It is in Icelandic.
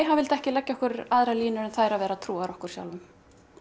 hann vildi ekki leggja okkur aðrar línur en þær að vera trúar okkur sjálfum